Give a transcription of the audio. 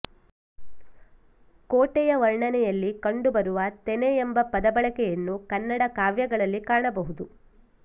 ಕೋಟೆಯ ವರ್ಣನೆಯಲ್ಲಿ ಕಂಡುಬರುವ ತೆನೆ ಎಂಬ ಪದ ಬಳಕೆಯನ್ನು ಕನ್ನಡ ಕಾವ್ಯಗಳಲ್ಲಿ ಕಾಣಬಹುದು